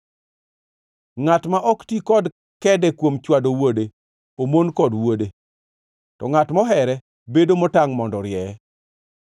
Ngʼat ma ok ti kod kede kuom chwado wuode, omon kod wuode, to ngʼat mohere bedo motangʼ mondo orieye.